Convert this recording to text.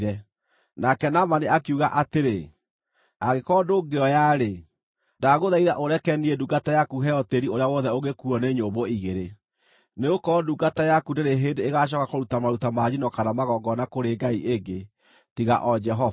Nake Naamani akiuga atĩrĩ, “Angĩkorwo ndũngĩoya-rĩ, ndagũthaitha ũreke niĩ ndungata yaku heo tĩĩri ũrĩa wothe ũngĩkuuo nĩ nyũmbũ igĩrĩ, nĩgũkorwo ndungata yaku ndĩrĩ hĩndĩ ĩgacooka kũruta maruta ma njino kana magongona kũrĩ ngai ĩngĩ, tiga o Jehova.